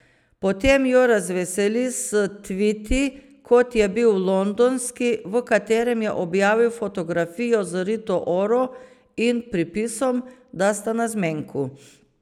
Potem jo razveseli s tviti, kot je bil londonski, v katerem je objavil fotografijo z Rito Oro in pripisom, da sta na zmenku.